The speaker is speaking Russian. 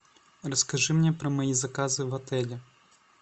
расскажи мне про мои заказы в отеле